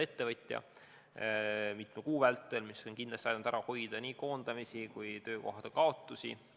Ettevõtjad on mitme kuu vältel saanud toetust ja see on kindlasti ära hoidnud nii koondamisi kui ka muid töökohakaotusi.